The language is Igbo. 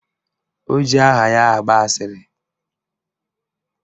O ji aha ya agba asịrị